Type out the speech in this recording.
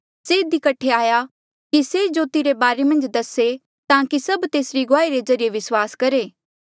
से इधी कठे आया कि से जोती रे बारे मन्झ दसे ताकि सभ तेसरी गुआही रे ज्रीए विस्वास करहे